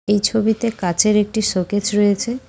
এই ছবিতে কাঁচের একটি শোকেস রয়েছে।